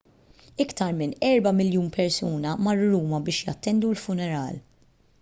iktar minn erba' miljun persuna marru ruma biex jattendu l-funeral